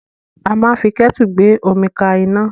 A máa ń fi kẹ́tu gbé omi ka iná.